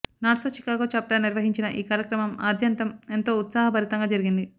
NATS Chicago chapter నిర్వహించిన ఈ కార్యక్రమం ఆద్యంతం ఎంతో ఉత్సాహ భరితంగా జరిగింది